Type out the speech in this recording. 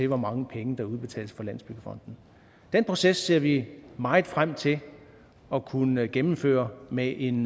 hvor mange penge der udbetales fra landsbyggefonden den proces ser vi meget frem til at kunne gennemføre med en